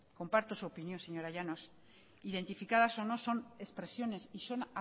comparto su opinión señora llanos identificadas o no son expresiones y son